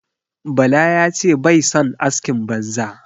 Bala ya ce bai son askin banza.